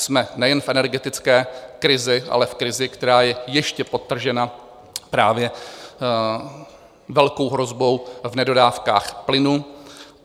Jsme nejen v energetické krizi, ale v krizi, která je ještě podtržena právě velkou hrozbou v nedodávkách plynu.